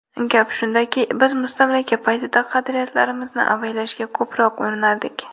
Gap shundaki, biz mustamlaka paytida qadriyatlarimizni avaylashga ko‘proq urinardik.